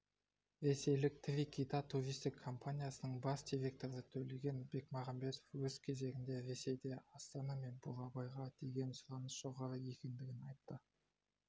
ресейлік три кита туристік компаниясының бас директоры төлеген бекмағамбетов өз кезегінде ресейде астана мен бурабайға деген сұраныс жоғары екендігін айтты